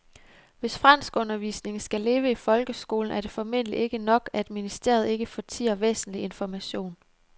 Hvis franskundervisningen skal leve i folkeskolen er det formentlig ikke nok, at ministeriet ikke fortier væsentlig information.